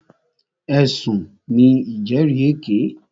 Ẹ̀sùn ní ìjẹ́rìèké.